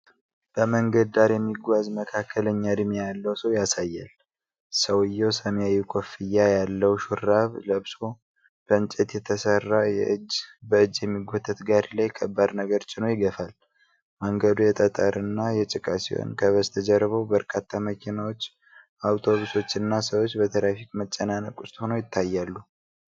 በመንገድ ዳር የሚጓዝ መካከለኛ ዕድሜ ያለው ሰው ያሳያል። ሰውየው ሰማያዊ ኮፍያ ያለው ሹራብ ለብሶ በእንጨት የተሠራ በእጅ የሚጎተት ጋሪ ላይ ከባድ ነገር ጭኖ ይገፋል። መንገዱ የጠጠርና የጭቃ ሲሆን፤ ከበስተጀርባው በርካታ መኪናዎች፣ አውቶቡሶች እና ሰዎች በትራፊክ መጨናነቅ ውስጥ ሆነው ይታያሉ።